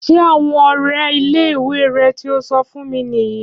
Ṣé àwọn ọrẹ ilé ìwé re tío so fún mi nìyí